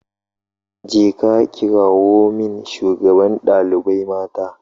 Je ka kirawo min shugaban dalibai mata